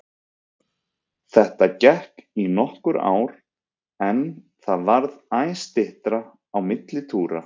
Þetta gekk í nokkur ár en það varð æ styttra á milli túra.